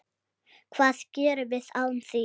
Hvað gerum við án þín?